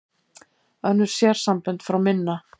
Önnur sérsambönd fá minna